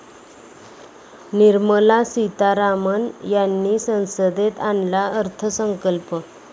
निर्मला सीतारामन यांनी संसदेत आणला अर्थसंकल्प